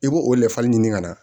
I b'o o ɲini ka na